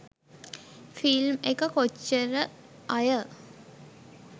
film එක කොච්චර අය